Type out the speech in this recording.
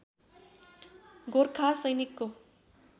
गोरखा सैनिकको